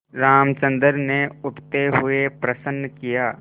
रामचंद्र ने उठते हुए प्रश्न किया